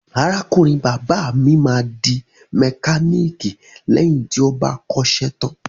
Arákùnrin bàbá mi máa di mẹkáníìkì lẹ́yìn tí ó bá kọ́ṣẹ́ tán.